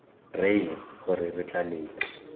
reye gore re tla leta